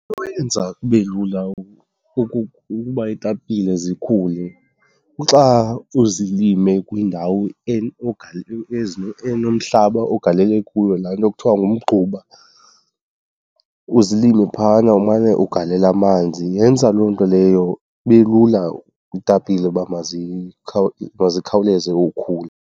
Into eyenza kube lula ukuba iitapile zikhule kuxa uzilime kwindawo enomhlaba ogalele kuyo laa nto kuthiwa ngumgquba, uzilime phayana umane ugalela amanzi. Yenza loo nto leyo kube lula iitapile uba mazikhawuleze ukhula.